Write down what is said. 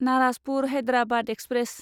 Narasapur Hyderabad express